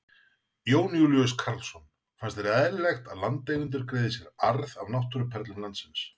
Jón Júlíus Karlsson: Finnst þér eðlilegt að landeigendur greiði sér arð af náttúruperlum landsins?